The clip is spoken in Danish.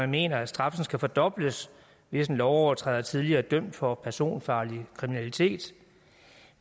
mener at straffen skal fordobles hvis en lovovertræder tidligere er dømt for personfarlig kriminalitet